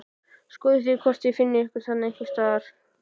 Skoðið hvort þið finnið ykkur þarna einhvers staðar